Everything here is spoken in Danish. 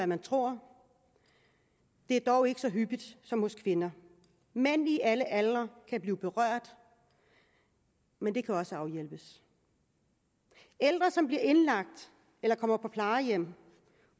man tror det er dog ikke så hyppigt som hos kvinder mænd i alle aldre kan blive berørt men det kan også afhjælpes ældre som bliver indlagt eller kommer på plejehjem